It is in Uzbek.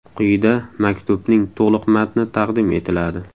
Quyida maktubning to‘liq matni taqdim etiladi.